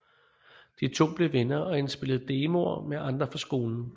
De to blev venner og indspillede demoer med andre fra skolen